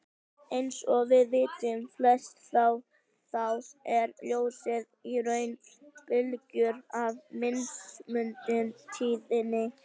Eins og við vitum flest að þá er ljósið í raun bylgjur af mismunandi tíðni.